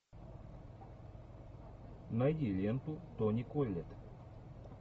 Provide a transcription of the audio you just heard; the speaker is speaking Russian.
найди ленту тони коллетт